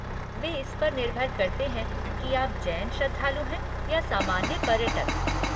वे इस पर निर्भर करते हैं कि आप जैन श्रद्धालु हैं या सामान्य पर्यटक।